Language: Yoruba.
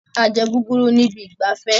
A jẹ guguru ní ibi ìgbafẹ́